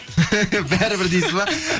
бәрібір дейсіз ба